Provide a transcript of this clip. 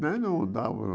Nem não dava